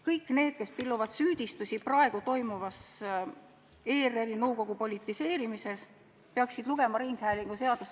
Kõik need, kes pilluvad süüdistusi praeguse ERR-i nõukogu politiseerimise teemal, peaksid lugema ringhäälinguseadust.